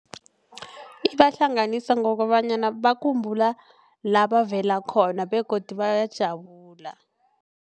Ibahlanganisa ngokobanyana bakhumbula labavela khona begodu bayajabula.